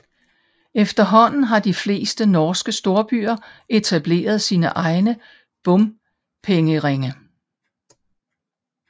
Efterhånden har de fleste norske storbyer etableret sine egne bompengeringe